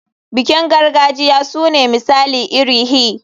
Bikin gargajiya sune misali iri hi.